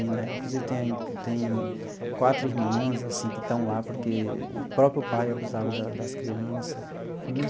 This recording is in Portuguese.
Né inclusive, tem tem quatro irmãs assim que estão lá porque o próprio pai abusava da das criança.